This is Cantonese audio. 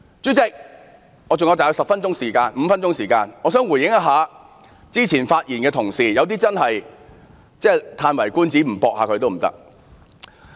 主席，我還有大約5分鐘的發言時間，我想就剛才一些同事的發言作一些回應。